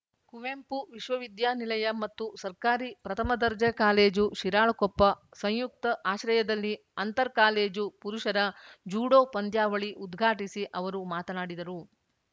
ಕುವೆಂಪು ವಿಶ್ವವಿದ್ಯಾನಿಲಯ ಮತ್ತು ಸರ್ಕಾರಿ ಪ್ರಥಮ ದರ್ಜೆ ಕಾಲೇಜು ಶಿರಾಳಕೊಪ್ಪ ಸಂಯುಕ್ತ ಆಶ್ರಯದಲ್ಲಿ ಅಂತರ್‌ ಕಾಲೇಜು ಪುರುಷರ ಜೂಡೋ ಪಂದ್ಯಾವಳಿ ಉದ್ಘಾಟಿಸಿ ಅವರು ಮಾತನಾಡಿದರು